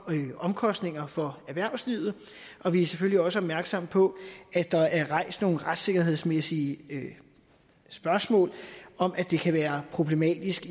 omkostninger for erhvervslivet og vi er selvfølgelig også opmærksomme på at der er rejst nogle retssikkerhedsmæssige spørgsmål om at det kan være problematisk